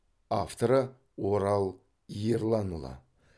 авторы орал ерланұлы